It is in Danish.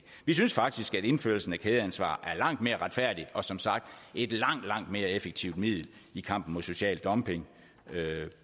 vi synes faktisk at indførelsen af kædeansvar er langt mere retfærdigt og som sagt et langt langt mere effektivt middel i kampen mod social dumping